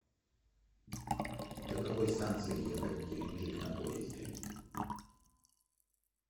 до какой станции ехать в геленджик на поезде